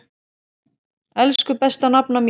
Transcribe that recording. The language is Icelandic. Elsku besta nafna mín.